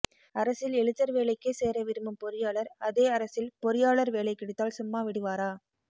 அரசில் எழுத்தர் வேலைக்கே சேர விரும்பும் பொறியாளர் அதே அரசில் பொறியாளர் வேலை கிடைத்தால் சும்மா விடுவாரா